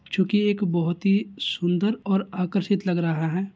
चूंकि एक बहुत ही सुंदर और आकर्षित लग रहा है।